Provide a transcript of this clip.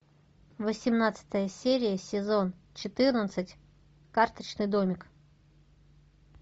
восемнадцатая серия сезон четырнадцать карточный домик